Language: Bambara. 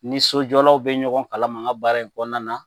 N ni sojɔlaw be ɲɔgɔn kalama n ga baara in kɔnɔna na